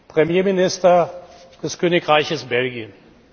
Premierminister des Königreiches Belgien.